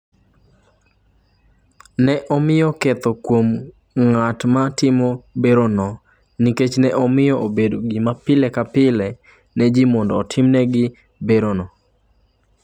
Ne omiye ketho kuom ng’at ma timo oparesonno nikech ne omiyo obedo gima pile ka pile ne ji mondo otimnegi oparesonno.